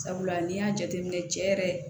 Sabula n'i y'a jateminɛ cɛ yɛrɛ